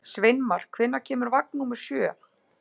Sveinmar, hvenær kemur vagn númer sjö?